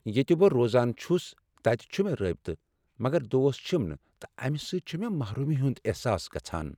ییٚتہ بہٕ روزان چُھس تتہِ چُھِ مےٚ رٲبطہٕ مگر دوست چھِم نہٕ تہٕ امہ سۭتۍ چُھ مےٚ محرومی ہُند احساس گژھان ۔